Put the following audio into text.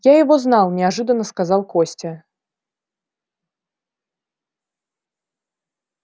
я его знал неожиданно сказал костя